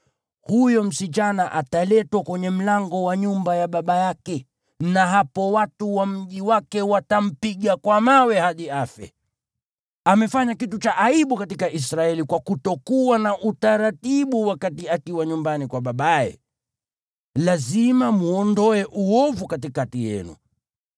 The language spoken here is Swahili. huyo msichana ataletwa kwenye mlango wa nyumba ya baba yake, na hapo watu wa mji wake watampiga kwa mawe hadi afe. Amefanya kitu cha aibu katika Israeli kwa kufanya ukahaba akiwa nyumbani kwa babaye. Lazima mwondoe uovu katikati yenu.